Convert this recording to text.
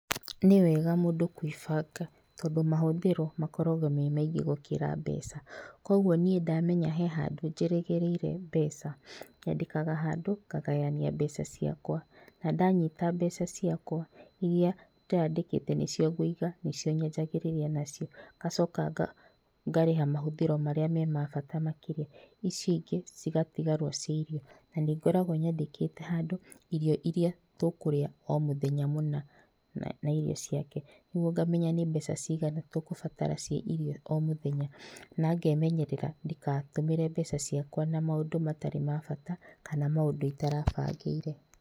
Niwega mũndũ kwĩbanga tondũ mahũthĩro makoragwo me maingĩ gũkĩra mbeca. Koguo niĩ ndamenya he andũ njĩrĩgĩrĩire mbeca nyandĩkaga handũ ngagayania mbeca ciakwa na ndanyita mbeca ciakwa iria ndĩrandĩkĩte nĩcio ngũiga nĩcio nyanjagĩrĩria nacio ngacoka ngarĩha mahũthĩro marĩa marĩ ma bata makĩria ici ingĩ igatigarwo cĩa irio, na nĩngoragwo nyandĩkĩte handũ irio iria tũkũrĩa o mũthenya mũna na irio ciake. Koguo ngamenya nĩ mbeca cigana tũgũbatara cia irio o mũthenya, na ngemenyerera ndikatũmĩre mbeca ciakwa na maũndũ matarĩ mabata kana maũndũ itarabangĩire.